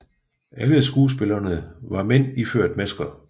Alle skuespillerne var mænd iført masker